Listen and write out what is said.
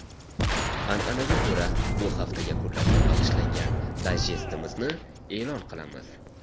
An’anaga ko‘ra, bu hafta yakunlariga bag‘ishlangan dayjestimizni e’lon qilamiz.